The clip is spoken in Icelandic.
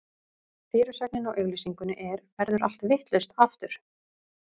Fyrirsögnin á auglýsingunni er: Verður allt vitlaust, aftur?